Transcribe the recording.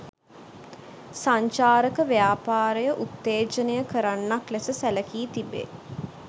සංචාරක ව්‍යාපාරය උත්තේජනය කරන්නක් ලෙස සැලකී තිබේ.